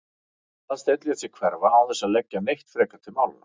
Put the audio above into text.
Aðalsteinn lét sig hverfa án þess að leggja neitt frekar til málanna.